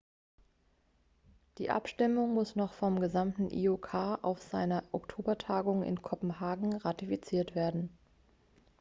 die abstimmung muss noch vom gesamten iok auf seiner oktobertagung in kopenhagen ratifiziert werden